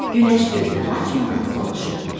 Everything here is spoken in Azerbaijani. Günəş gözünü açmadan soruşdu: